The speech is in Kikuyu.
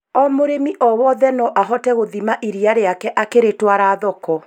O mũrĩmi o wothe no ahote gũthima iria rĩake akĩrĩtwara thoko